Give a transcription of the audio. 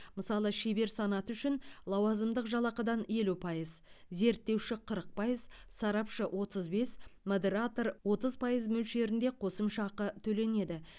мысалы шебер санаты үшін лауазымдық жалақыдан елу пайыз зерттеуші қырық пайыз сарапшы отыз бес модератор отыз пайыз мөлшерінде қосымша ақы төленеді